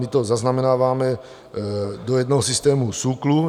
My to zaznamenáváme do jednoho systému SÚKLu.